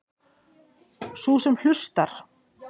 Sú sem hlustar.